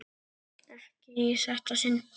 Ekki í þetta sinn.